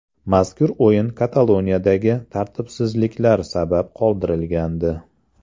Mazkur o‘yin Kataloniyadagi tartibsizlar sabab qoldirilgandi .